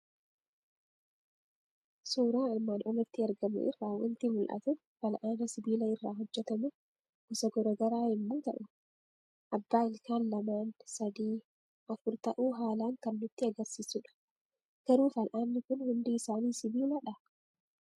Suuraa armaan olitti argamu irraa waanti mul'atu; fal'aana sibiila irra hojjetamu gosa garaagaraa yommuu ta'u, abbaa ilkaan lamaan, sadii, afur ta'u haalan kan nutti agarsiisudha. Garuu fal'aanni kun hundi isaani sibiiladhaa?